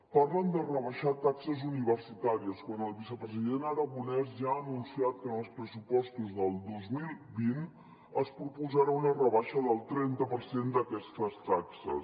parlen de rebaixar taxes universitàries quan el vicepresident aragonès ja ha anunciat que en els pressupostos del dos mil vint es proposarà una rebaixa del trenta per cent d’aquestes taxes